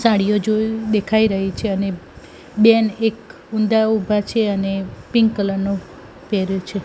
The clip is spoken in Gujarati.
સાડીઓ જો દેખાય રહી છે અને બેન એક ઊંધા ઉભા છે અને પિન્ક કલર નો પેહેર્યો છે.